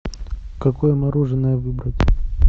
какое мороженое выбрать